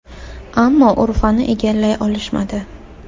Ammo Urfani egallay olishmadi.